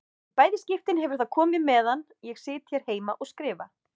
Í bæði skiptin hefur það komið meðan ég sit hér heima og skrifa.